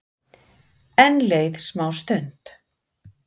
Enn leið smástund.